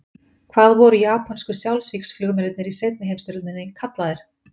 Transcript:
Hvað voru japönsku sjálfsvígsflugmennirnir í seinni heimsstyrjöldinni kallaðir?